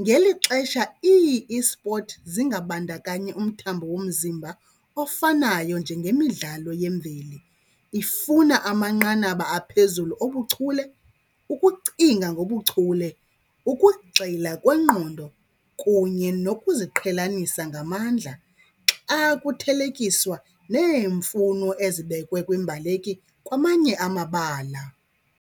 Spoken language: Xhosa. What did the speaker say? ngeli xesha ii-esport zingabandakanyi umthambo womzimba ofanayo njengemidlalo yemveli. Ifuna amanqanaba aphezulu obuchule, ukucinga ngobuchule, ukugxila kwengqondo kunye nokuziqhelanisa ngamandla xa kuthelekiswa neemfuno ezibekwe kwiimbaleki kwamanye amabala.